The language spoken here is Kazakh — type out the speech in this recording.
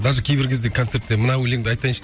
даже кейбір кезде концертте мына өлеңді айтайыншы